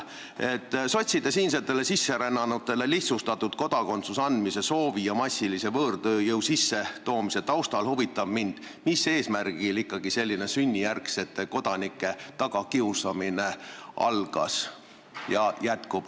Sotside soovi taustal siinsetele sisserännanutele lihtsustatud korras kodakondsus anda ja võõrtööjõu massilise sissetoomise taustal huvitab mind, mis eesmärgil ikkagi selline sünnijärgsete kodanike tagakiusamine algas ja jätkub.